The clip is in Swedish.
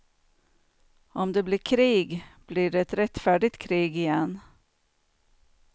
Om det blir krig, blir det ett rättfärdigt krig igen.